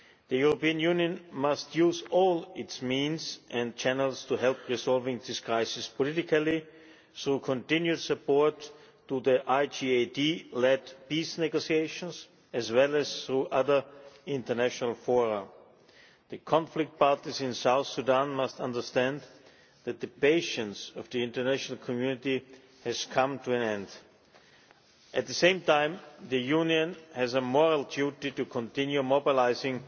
The European Union must use all its means and channels to help resolve this crisis politically, through continued support for the IGAD led peace negotiations, as well as through other international fora. The conflict parties in South Sudan must understand that the patience of the international community has come to an end. At the same time, the Union has a moral duty to continue mobilising